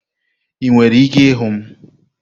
Ị nwere ike ịhụ m?